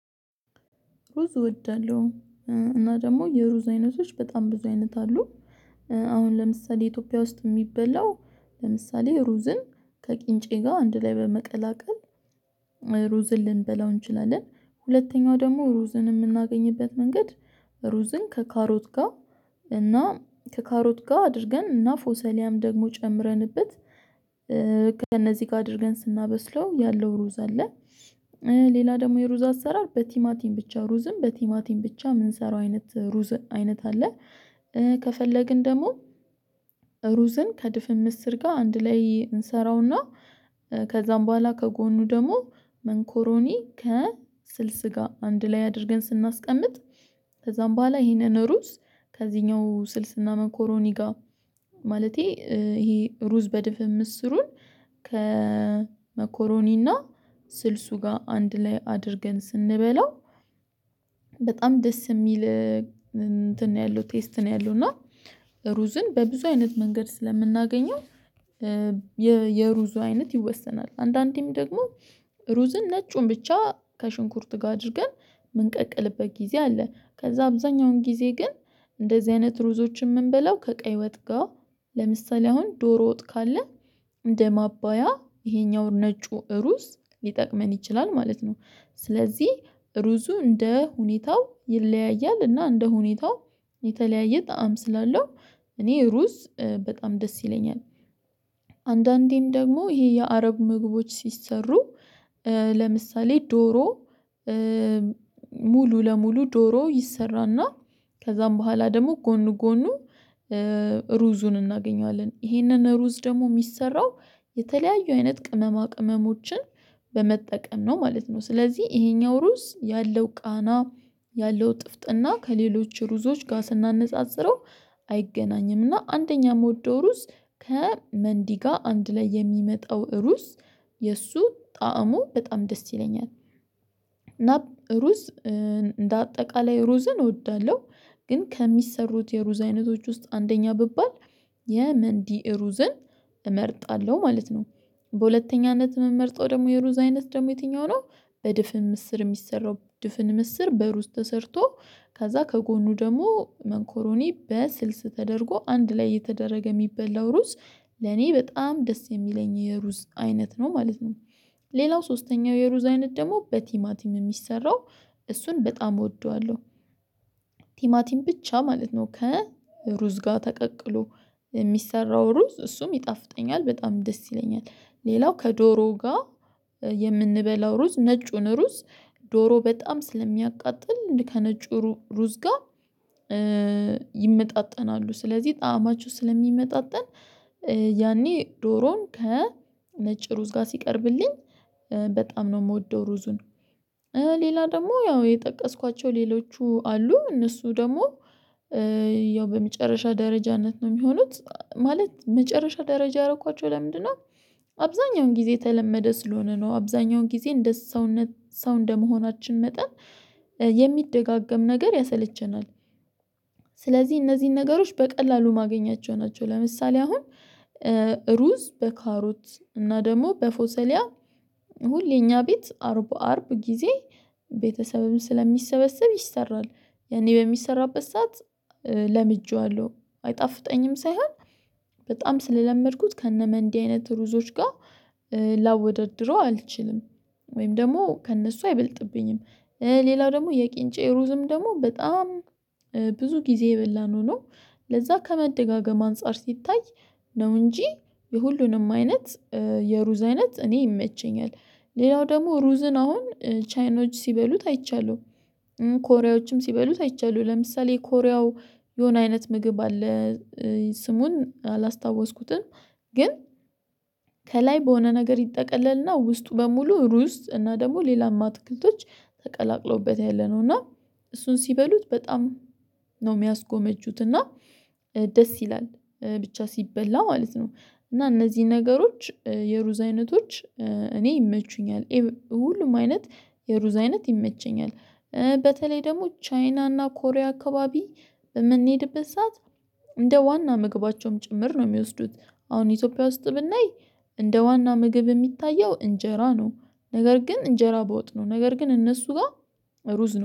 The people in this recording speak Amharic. ሩዝ እወዳለሁ እና ደግሞ የሩዝ አይነቶች በጣም ብዙ አይነት አሉ። አሁን ለምሳሌ ኢትዮጵያ ውስጥ የሚበላው ለምሳሌ ሩዝን ከቂንጬ ጋር አንድ ላይ በመቀላቀል ሩዝን ልንበላው እንችላለን። ሁለተኛው ደግሞ ሩዝን የምናገኝበት መንገድ ሩዝን ከካሮት ጋር እና ከካሮት ጋር አድርገን እና ፎሰሊያም ደግሞ ጨምረንበት ከእነዚህ ጋር አድርገን ስናበስለው ያለው ሩዝ አለ። ሌላ ደግሞ የሩዝ አሰራር በቲማቲም ብቻ ሩዝን በቲማቲም ብቻ የምንሰራው አይነት ሩዝ አይነት አለ። ከፈለግን ደግሞ ሩዝን ከድፍን ምስር ጋር አንድ ላይ እንሰራውና ከዛም በኋላ ከጎኑ ደግሞ መኮሮኒ ከስልስ ጋር አንድ ላይ አድርገን ስናስቀምጥ። ከዛም በኋላ ይሄንን ሩዝ ከዚህኛው ስልስና መኮሮኒ ጋር ማለቴ ይሄ ሩዝ በድፍን ምስሩን ከመኮሮኒና ስልሱ ጋር አንድ ላይ አድርገን ስንበላው። በጣም ደስ የሚል እንትን ነው ያለው ቴስት ነው ያለው። እና ሩዝን በብዙ አይነት መንገድ ስለምናገኘው የሩዙ አይነት ይወሰናል። አንዳንዴም ደግሞ ሩዝን ነጩን ብቻ ከሽንኩርት ጋር አድርገን መንቀቅልበት ጊዜ አለ። ከዛ አብዛኛውን ጊዜ ግን እንደዚህ አይነት ሩዞች የምንበላው ከቀይ ወጥ ጋር ለምሳሌ አሁን ዶሮ ወጥ ካለ እንደ ማባያ ይሄኛው ነጩ ሩዝ ሊጠቅመን ይችላል ማለት ነው። ስለዚህ ሩዙ እንደ ሁኔታው ይለያያል። እና እንደ ሁኔታው የተለያየ ጣዕም ስላለው እኔ ሩዝ በጣም ደስ ይለኛል። አንዳንዴም ደግሞ ይሄ የአረብ ምግቦች ሲሰሩ ለምሳሌ ዶሮ ሙሉ ለሙሉ ዶሮ ይሰራና ከዛም በኋላ ደግሞ ጎኑ ጎኑ ሩዙን እናገኘዋለን ይሄንን ሩዝ ደግሞ የሚሰራው የተለያዩ አይነት ቅመማ ቅመሞችን በመጠቀም ነው ማለት ነው። ስለዚህ ይሄኛው ሩዝ ያለው ቃና ያለው ጥፍጥና ከሌሎች ሩዞች ጋር ስናነጻጽረው አይገናኝምና አንደኛ የምወደው ሩዝ። ከመንዲ ጋር አንድ ላይ የሚመጣው ሩስ የእሱ ጣዕሙ በጣም ደስ ይለኛል። እና ሩዝ እንደ አጠቃላይ ሩዝን እወዳለሁ። ግን ከሚሰሩት የሩዝ አይነቶች ውስጥ አንደኛ ብባል የመንዲ ሩዝን እመርጣለሁ ማለት ነው። በሁለተኛነት የምመርጠው ደግሞ የሩዝ አይነት ደግሞ የትኛው ነው? በድፍን ምስር የሚሰራው ድፍን ምስር በሩዝ ተሰርቶ ከዛ ከጎኑ ደግሞ መኮሮኒ በስልስ ተደርጎ አንድ ላይ የተደረገ የሚበላው ሩዝ ለኔ በጣም ደስ የሚለኝ የሩዝ አይነት ነው ማለት ነው። ሌላው ሶስተኛው የሩዝ አይነት ደግሞ በቲማቲም የሚሰራው እሱን በጣም እወደዋለሁ። ቲማቲም ብቻ ማለት ነው ከሩዝ ጋር ተቀቅሎ የሚሰራው ሩዝ እሱም ይጣፍጠኛል በጣም ደስ ይለኛል። ሌላው ከዶሮ ጋር የምንበላው ሩዝ ነጩን ሩዝ ዶሮ በጣም ስለሚያቃጥል ከነጩ ሩዝ ጋር ይመጣጠናሉ። ስለዚህ ጣዕማችሁ ስለሚመጣጠን ያኔ ዶሮን ከነጭ ሩዝ ጋር ሲቀርብልኝ በጣም ነው የምወደው ሩዙን። ሌላ ደግሞ ያው የጠቀስኳቸው ሌሎቹ አሉ እነሱ ደግሞ ያው በመጨረሻ ደረጃነት ነው የሚሆኑት ማለት መጨረሻ ደረጃ ያረኳቸው ለምንድነው? አብዛኛውን ጊዜ ተለመደ ስለሆነ ነው አብዛኛውን ጊዜ እንደ ሰውነት ሰው እንደመሆናችን መጠን የሚደጋገም ነገር ያሰለቸናል። ስለዚህ እነዚህን ነገሮች በቀላሉ ማገኛቸው ናቸው ለምሳሌ አሁን ሩዝ በካሩት እና ደግሞ በፎሰሊያ ሁሌ እኛ ቤት አርብ አርብ ጊዜ ቤተሰብም ስለሚሰበሰብ ይሰራል። የኔ በሚሰራበት ሰዓት ለምጄዋለሁ አይጣፍጠኝም ሳይሆን በጣም ስለለመድኩት ከነመንዲ አይነት ሩዞች ጋር ላወደድረው አልችልም። ወይም ደግሞ ከእነሱ አይበልጥብኝም። ሌላው ደግሞ የቂንጬ ሩዝም ደግሞ በጣም ብዙ ጊዜ የበላነው ነው። ለዛ ከመደጋገም አንፃር ሲታይ ነው እንጂ የሁሉንም አይነት የሩዝ አይነት እኔ ይመቸኛል። ሌላው ደግሞ ሩዝን አሁን ቻይኖች ሲበሉት አይቻለሁ። ኮሪያዎችም ሲበሉት አይቻለሁ ለምሳሌ ኮሪያው የሆነ አይነት ምግብ አለ። ስሙን አላስታወስኩትም። ግን ከላይ በሆነ ነገር ይጠቀለልና ውስጡ በሙሉ ሩዝ እና ደግሞ ሌላም አትክልቶች ተቀላቅሎበት ያለነው እና እሱን ሲበሉት በጣም ነው የሚያስጎመጁት። እና ደስ ይላል ብቻ ሲበላ ማለት ነው። እና እነዚህን ነገሮች የሩዝ አይነቶች እኔ ይመቹኛል ሁሉም አይነት የሩዝ አይነት ይመቸኛል። በተለይ ደግሞ ቻይና እና ኮሪያ አካባቢ በምንሄድበት ሰዓት እንደ ዋና ምግባቸውም ጭምር ነው የሚወስዱት አሁን ኢትዮጵያ ውስጥ ብናይ እንደ ዋና ምግብ የሚታየው እንጀራ ነው። ነገር ግን እንጀራ ባወጥ ነው ነገር ግን እነሱ ጋር ሩዝ ነው